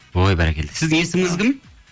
ой бәрекелді сіздің есіміңіз кім